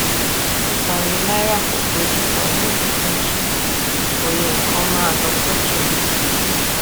pípa òye náírà pọ sí ojú kan yóò tún jẹ kí òye nkan má lọ sókè